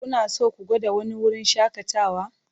Kuna so ku gwada wani wurin shakatawa?